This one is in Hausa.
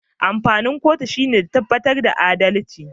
Amfanin kotu shine ta tabbatar da adalci